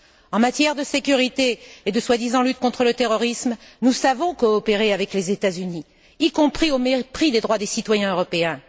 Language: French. En matière de sécurité et de soi disant lutte contre le terrorisme, nous savons coopérer avec les États Unis, y compris au mépris des droits des citoyens européens.